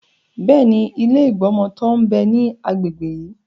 Bẹ́ẹ̀ni, ilé ìgbọmọtọ́ ń bẹ ní agbègbè yí.